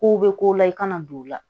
Kow bɛ ko la i kana don o la